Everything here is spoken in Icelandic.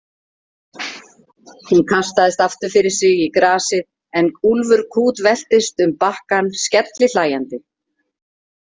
Hún kastaðist aftur fyrir sig í grasið en Úlfur kútveltist um bakkann skellihlæjandi.